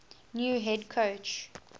new head coach